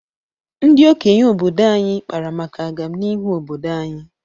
Ndị okenye obodo anyị kpara maka agamnihu obdodo anyị.